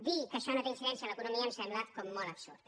dir que això no té incidència en l’economia em sembla molt absurd